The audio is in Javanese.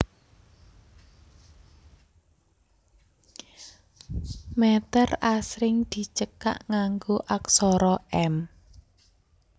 Mèter asring dicekak nganggo aksara m